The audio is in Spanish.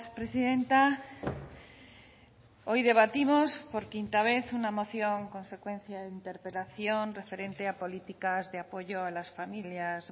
presidenta hoy debatimos por quinta vez una moción consecuencia de interpelación referente a políticas de apoyo a las familias